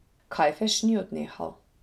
Kajfež ni odnehal.